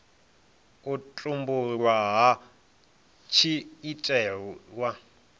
u tumbulwa hu tshi itelwa